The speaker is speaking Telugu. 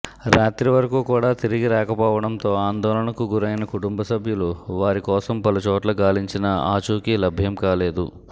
రాత్రి వరకు కూడా తిరిగి రాకపోవడంతో ఆందోళనకు గురైన కుటుంబసభ్యులు వారి కోసం పలుచోట్ల గాలించినా ఆచూకీ లభ్యం కాలేదు